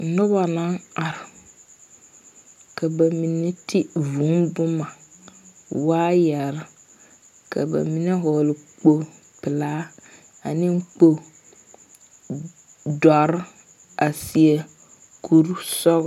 Noba naŋ are, ka ba mine ti vūū boma wire ka ba mine vɔgle kpo pelaa ka ba mine vɔgle kpo dɔre a saɛ kur sɔg.